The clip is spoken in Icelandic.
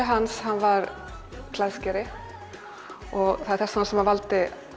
hans var klæðskeri og það er þess vegna sem hann valdi